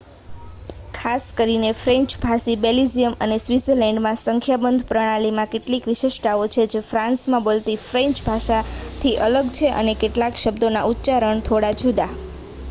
ખાસ કરીને ફ્રેન્ચ ભાષી બેલ્જિયમ અને સ્વિત્ઝરલેન્ડમાં સંખ્યાબંધ પ્રણાલીમાં કેટલીક વિશિષ્ટતાઓ છે જે ફ્રાન્સમાં બોલાતી ફ્રેન્ચ ભાષાથી અલગ છે અને કેટલાક શબ્દોના ઉચ્ચારણો થોડા જુદા